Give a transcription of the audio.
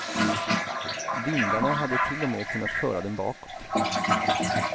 Vindarna hade till och med kunnat föra dem bakåt.